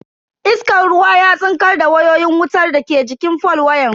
Iskan ruwan ya tsinkar da wayoyin wutar daga jikin fol wayan.